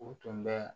U tun bɛ